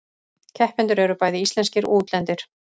Keppendur eru bæði íslenskir og útlendir